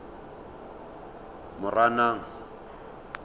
moranang